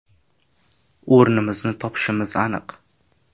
- O‘rnimizni topishimiz aniq.